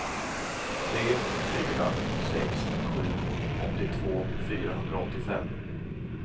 tre fyra sex sju åttiotvå fyrahundraåttiofem